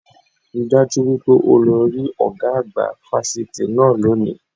Rí i dájú wípé o lọ rí ọ̀gá àgbà fásitì náà lónìí